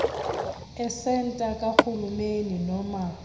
esenta kahulumeni noma